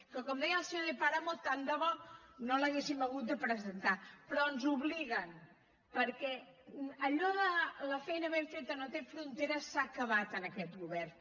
que com deia el senyor de páramo tant de bo no l’haguéssim hagut de presentar però ens hi obliguen perquè allò de la feina ben feta no té fronteres s’ha acabat en aquest govern